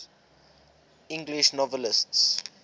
english novelists